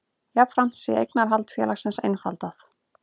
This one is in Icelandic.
Jafnframt sé eignarhald félagsins einfaldað